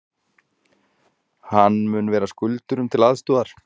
Hann mun vera skuldurum til aðstoðar